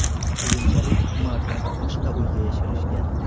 Keyinchalik Umarni boshqa uyga yashirishgan.